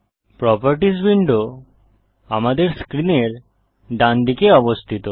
properties window আমাদের স্ক্রিনের ডানদিকে অবস্থিত